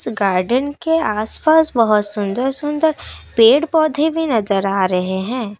Garden के आसपास बहुत सुंदर सुंदर पेड़ पौधे भी नजर आ रहे हैं।